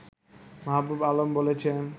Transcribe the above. মাহবুবে আলম বলেছেন